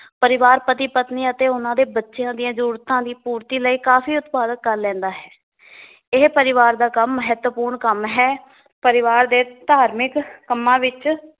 ਪਰਿਵਾਰ ਪਤੀ ਪਤਨੀ ਅਤੇ ਉਹਨਾਂ ਦੇ ਬੱਚਿਆਂ ਦੀਆਂ ਜਰੂਰਤਾਂ ਦੀ ਪੂਰਤੀ ਲਈ ਕਾਫੀ ਉਤਪਾਦਕ ਕਰ ਲੈਂਦਾ ਹੈ ਇਹ ਪਰਿਵਾਰ ਦਾ ਕੰਮ ਮਹਤਵਪੂਰਣ ਕੰਮ ਹੈ ਪਰਿਵਾਰ ਦੇ ਧਾਰਮਿਕ ਕੰਮਾਂ ਵਿਚ